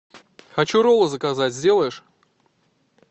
хочу роллы заказать сделаешь